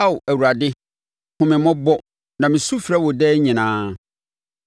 Ao Awurade, hunu me mmɔbɔ, na mesu frɛ wo daa nyinaa.